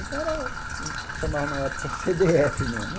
Então era o que chamavam na época ce dê efe mesmo.